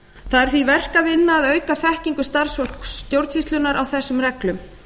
það er því verk að vinna að auka þekkingu starfsfólks stjórnsýslunnar á þessum reglum